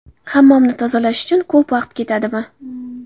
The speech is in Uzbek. Hammomni tozalash uchun ko‘p vaqt ketadimi?